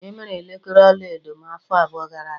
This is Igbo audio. E mere elekere ọlaedo m afọ abụọ gara aga.